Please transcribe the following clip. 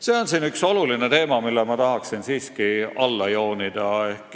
See on üks olulisi teemasid, mille ma tahan siiski alla joonida.